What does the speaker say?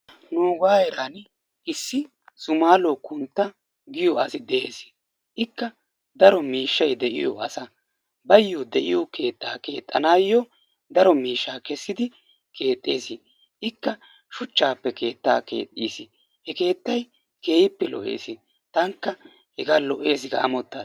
Nuuga heeran issi Sumaluwa kuntta giyo asi de'ees. Ikka daro miishshay de'iyo asa, bayyo de'iyo keettaa keexxanayyo daro miishshaa kessidi keexxees. Ikka shuchchappe keettaa keexxiiis. he keettay keehippe lo''eessi. tanikka hegaa lo''essi ga ammotaas.